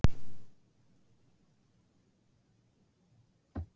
Þetta barn ætla ég mér að eiga hvað sem hver segir.